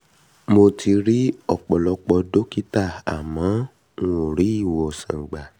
mo um ti um ri ọ̀pọ̀lọpọ̀ dọ́kítà àmọ́ n ò rí ìwòsàn gbà